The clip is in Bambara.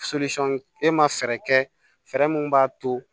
e ma fɛɛrɛ kɛ fɛɛrɛ min b'a to